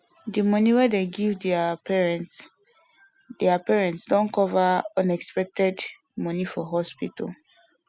the money wey them dey give their parents their parents wey retire don cover unexpected money for hospital